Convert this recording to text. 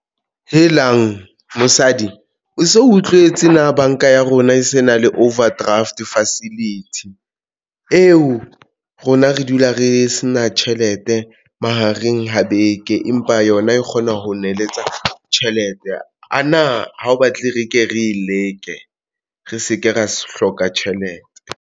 Helang mosadi o so utlwetse. Na banka ya rona e se na le overdraft facility eo rona re dula re se na tjhelete mahareng ho beke, empa yona e kgona ho neletsa tjhelete ana ha o batle re ke re leke re se ke ra hloka tjhelete?